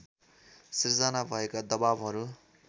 सृजना भएका दबाबहरू